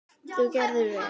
Þú gerðir vel!